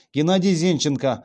геннадий зенченко